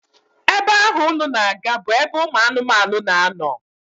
Ebe ahụ unu na-aga bụ ebe ụmụ anụmanụ na-anọ